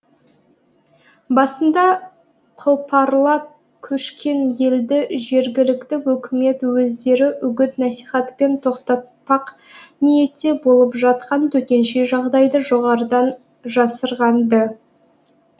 басында қопарыла көшкен елді жергілікті өкімет өздері үгіт насихатпен тоқтатпақ ниетте болып жатқан төтенше жағдайды жоғарыдан жасырған ды